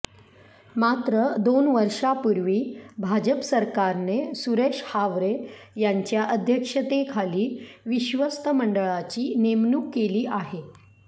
मात्र दोन वर्षांपूर्वी भाजप सरकारने सुरेश हावरे यांच्या अध्यक्षतेखाली विश्वस्त मंडळाची नेमणूक केली आहे